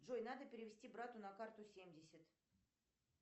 джой надо перевести брату на карту семьдесят